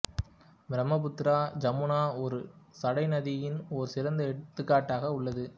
பிரம்மபுத்ராஜமுனா ஒரு சடை நதியின் ஒரு சிறந்த எடுத்துக்காட்டாக உள்ளது